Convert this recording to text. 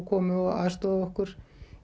komu og aðstoðuðu okkur